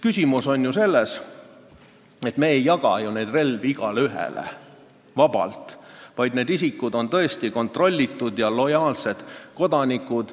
Küsimus on ju selles, et me ei jaga relvi igaühele vabalt, need isikud on tõesti kontrollitud ja lojaalsed kodanikud.